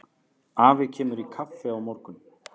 Afi kemur í kaffi á morgun.